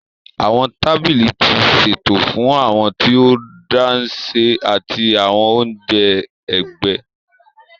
Awọn tábìlì ti ṣeto fún awọn tí o dashe ati awọn onjẹ ẹgbẹ.